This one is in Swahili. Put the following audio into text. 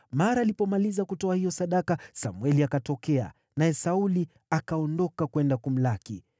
Mara alipomaliza kutoa hiyo sadaka, Samweli akatokea, naye Sauli akaondoka kwenda kumlaki.